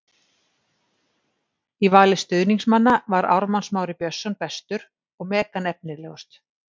Í vali stuðningsmanna var Ármann Smári Björnsson bestur og Megan efnilegust.